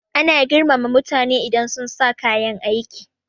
Ana girmama mutane idan sunsa kayan aiki